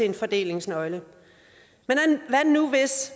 en fordelingsnøgle men hvad nu hvis